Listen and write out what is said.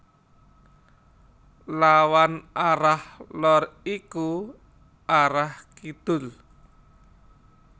Lawan arah lor iku arah Kidul